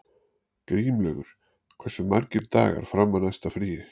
Grímlaugur, hversu margir dagar fram að næsta fríi?